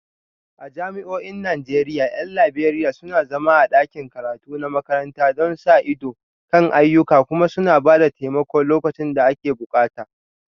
A jami'o'in Najeriya 'yan Liberiya suna zama a ɗakin karatu na makaranta don sa ido kan ayyukan kuma suna ba da taimako lokacin da ake bukata